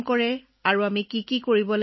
তৃতীয় দিনা ছাৰ আমাৰ পৰীক্ষা আছিল